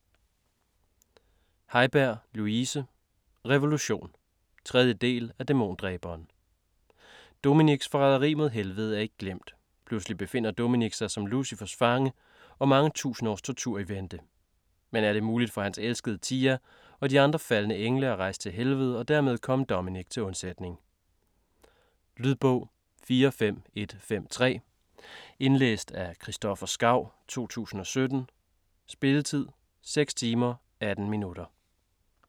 Haiberg, Louise: Revolution 3. del af Dæmondræberen. Dominic's forræderi mod helvede er ikke glemt. Pludselig befinder Dominic sig som Lucifers fange, og mange tusind års tortur er i vente. Men er det muligt for hans elskede Tia og de andre faldne engle at rejse til helvede og dermed komme Dominic til undsætning? Lydbog 45153 Indlæst af Christoffer Skau, 2017. Spilletid: 6 timer, 18 minutter.